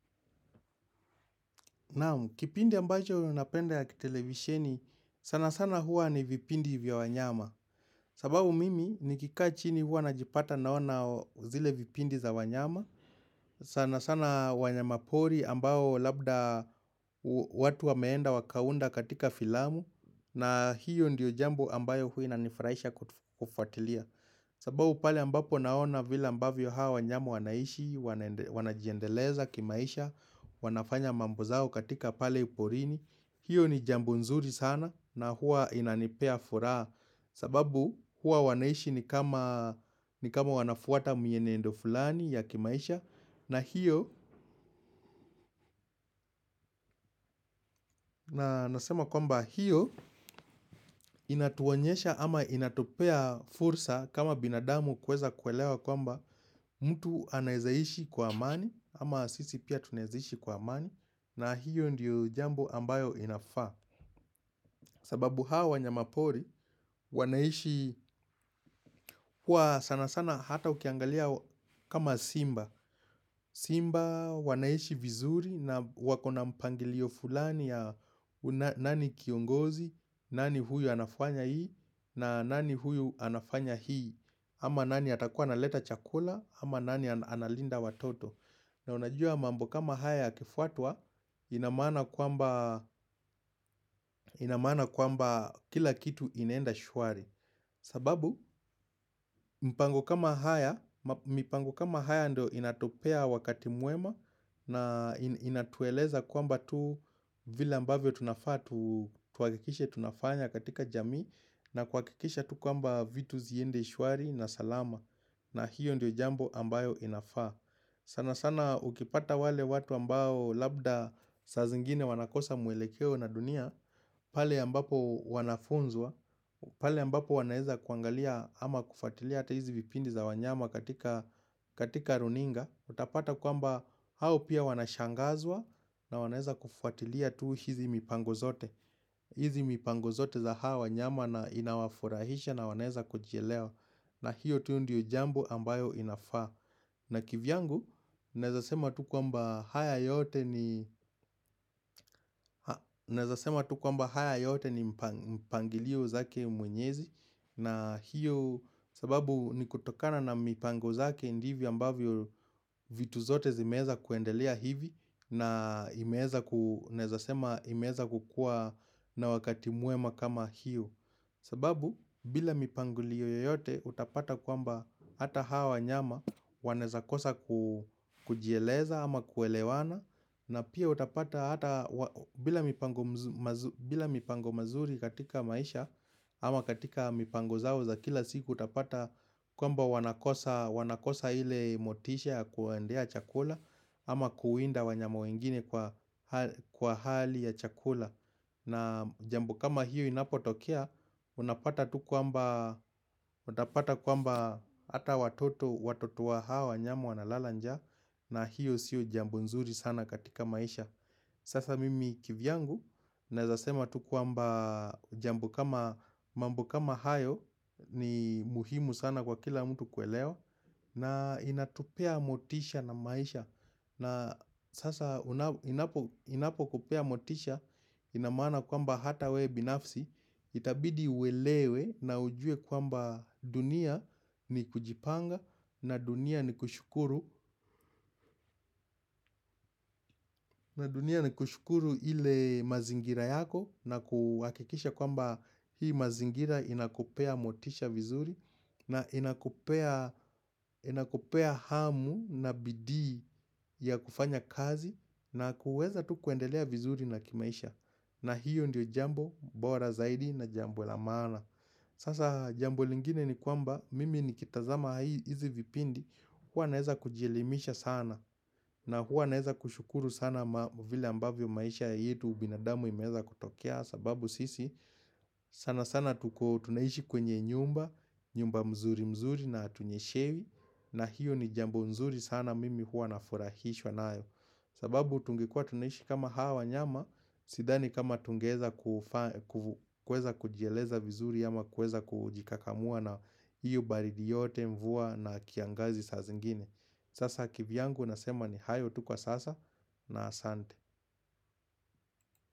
Kipindi ambacho napenda ya kitelevisheni, sana sana huwa ni vipindi vya wanyama. Sababu mimi nikikaa chini huwa najipata naona zile vipindi za wanyama. Sana sana wanyama pori ambao labda watu wa meenda wakaunda katika filamu. Na hiyo ndiyo jambo ambayo huwa inanifraisha kufuatilia. Sababu pale ambapo naona vila ambavyo hawa wanyama wanaishi, wanajiendeleza kimaisha, wanafanya mambo zao katika pale porini hiyo ni jambo nzuri sana na huwa inanipea furaha sababu huwa wanaishi ni kama wanafuata mienendo fulani ya kimaisha na hiyo, nasema kwamba hiyo inatuonyesha ama inatupea fursa kama binadamu kuweza kuelewa kwamba mtu anaeza ishi kwa amani ama sisi pia tunaeza ishi kwa amani na hiyo ndiyo jambo ambayo inafaa sababu hawa wa nyamapori, wanaishi huwa sana sana hata ukiangalia kama simba. Simba wanaishi vizuri na wakona mpangilio fulani ya nani kiongozi, nani huyu anafanya hii, na nani huyu anafanya hii, ama nani atakuwa ana leta chakula, ama nani analinda watoto. Na unajua mambo kama haya yakifuatwa inamaana kwamba kila kitu inaenda shwari sababu mipango kama haya ndo inatupea wakati mwema na inatueleza kwamba tu vile ambavyo tunafanya katika jamii na kuakikisha tu kwamba vitu ziende shwari na salama na hiyo ndio jambo ambayo inafaa sana sana ukipata wale watu ambao labda saa zingine wanakosa mwelekeo na dunia pale ambapo wanafunzwa pale ambapo wanaeza kuangalia ama kufuatilia ata hizi vipindi za wanyama katika runinga Utapata kwamba hao pia wanashangazwa na wanaeza kufuatilia tu hizi mipango zote hizi mipango zote za hawa wanyama na inawafurahisha na wanaeza kujielewa na hiyo tuu ndio jambo ambayo inafaa na kivyangu, naeza sema tu kwamba haya yote ni mpangilio zake mwenyezi na hiyo sababu ni kutokana na mipango zake ndivyo ambavyo vitu zote zimeeza kuendelea hivi na imeeza kukuwa na wakati mwema kama hiyo sababu bila mipango liyo yote utapata kwamba hata hawa wanyama wanaeza kosa kujieleza ama kuelewana na pia utapata bila mipango mazuri katika maisha ama katika mipango zao za kila siku utapata kwamba wanakosa ile motisha kuendea chakula ama kuwinda wanyama wengine kwa hali ya chakula na jambo kama hiyo inapo tokea, unapata kwamba hata watoto, watoto wa hawa, wanyama wa na lala njaa na hiyo sio jambo nzuri sana katika maisha Sasa mimi kivyangu, naeza sema tu kwamba jambo kama mambo kama hayo ni muhimu sana kwa kila mtu kuelewa na inatupea motisha na maisha na sasa inapo kupea motisha inamaana kwamba hata we binafsi Itabidi uelewe na ujue kwamba dunia ni kujipanga na dunia ni kushukuru na dunia ni kushukuru ile mazingira yako na kuakikisha kwamba hii mazingira inakupea motisha vizuri na inakupea hamu na bidii ya kufanya kazi na kuweza tu kuendelea vizuri na kimaisha na hiyo ndio jambo bora zaidi na jambo la maana sasa jambo lingine ni kwamba mimi ni kitazama hizi vipindi huwa naeza kujielimisha sana na huwa naeza kushukuru sana mavile ambavyo maisha yetu binadamu imeeza kutokea sababu sisi sana sana tunaiishi kwenye nyumba nyumba mzuri mzuri na hatunye shewi na hiyo ni jambo nzuri sana mimi huwa na furahishwa naayo sababu tungekuwa tunaiishi kama hawa wanyama Sidhani kama tungeeza kujieleza vizuri ama kueza kujikakamua na hiyo baridi yote mvua na kiangazi sa zingine Sasa kivyangu nasema ni hayo tu kwa sasa na asante.